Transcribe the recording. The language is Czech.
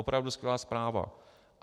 Opravdu skvělá zpráva.